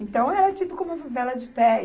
Então, era tido como uma favela de pé.